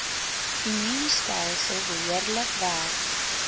immuunstelsel behoorlik werk